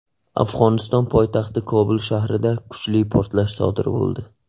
Afg‘oniston poytaxti Kobul shahrida kuchli portlash sodir bo‘ldi.